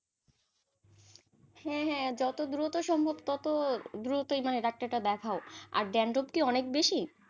হ্যাঁ হ্যাঁ যত দ্রুত সম্ভব তত দ্রুতই মানে ডাক্তারটা দেখাও, আর dandruff কি অনেক বেশি?